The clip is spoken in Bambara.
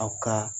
Aw ka